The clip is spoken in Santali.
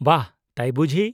ᱼᱵᱟᱦ, ᱛᱟᱭ ᱵᱩᱡᱷᱤ ?